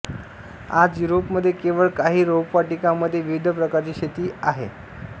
आज युरोपमध्ये केवळ काही रोपवाटिकांमध्ये विविध प्रकारची शेती आहे ले